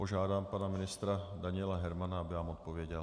Požádám pana ministra Daniela Hermana, aby vám odpověděl.